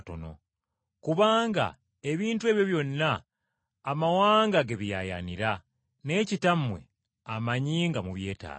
Kubanga ebintu ebyo byonna amawanga ge biyaayaanira, naye Kitammwe amanyi nga mubyetaaga.